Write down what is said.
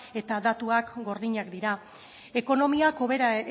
eta datuak gordinak dira ekonomiak hobera